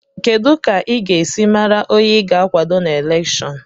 Kedu ka ị ga-esi mara onye ị ga-akwado na elèkshón